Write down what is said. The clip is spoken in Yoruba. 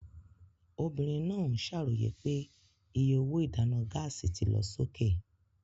Obìnrin náà ń ṣàròyé pé iye owó ìdáná gáàsì ti lọ sókè.